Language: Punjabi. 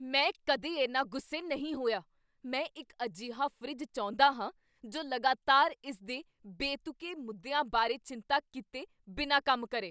ਮੈਂ ਕਦੇ ਇੰਨਾ ਗੁੱਸੇ ਨਹੀਂ ਹੋਇਆ। ਮੈਂ ਇੱਕ ਅਜਿਹਾ ਫਰਿੱਜ ਚਾਹੁੰਦਾ ਹਾਂ ਜੋ ਲਗਾਤਾਰ ਇਸ ਦੇ ਬੇਤੁਕੇ ਮੁੱਦਿਆਂ ਬਾਰੇ ਚਿੰਤਾ ਕੀਤੇ ਬਿਨਾਂ ਕੰਮ ਕਰੇ!